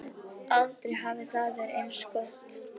Aldrei hafði það verið eins gott.